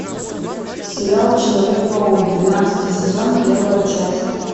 сериал человек паку двенадцатый сезон первая часть